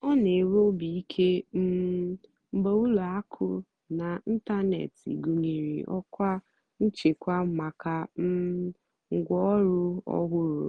ọ́ nà-ènwé óbì íké um mgbe ùlọ àkụ́ n'ị́ntánètị́ gụ́nyeré ọ́kwá nchèkwà màkà um ngwáọ̀rụ́ ọ́hụ́rụ́.